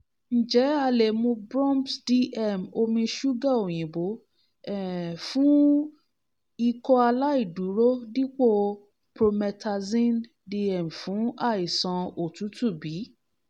njẹ a le mu brom/pse/dm omi ṣuga oyinbo um fun ikọaláìdúró dipo promethazine-dm fun aisan otutu bi?